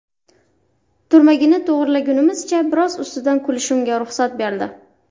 Turmagini to‘g‘rilagunimizcha biroz ustidan kulishimga ruxsat berdi”.